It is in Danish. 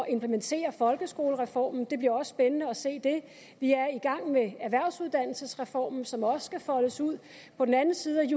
at implementere folkeskolereformen det bliver også spændende at se det vi er i gang med erhvervsuddannelsesreformen som også skal foldes ud på den anden side